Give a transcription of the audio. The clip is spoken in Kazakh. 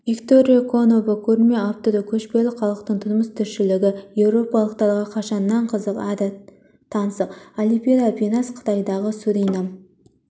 виктория конова көрме авторы көшпелі халықтың тұрмыс-тіршілігі еуропалықтарға қашаннан қызық әрі таңсық оливера пинас қытайдағы суринам